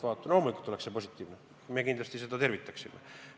Loomulikult oleks see positiivne ja me kindlasti seda tervitaksime.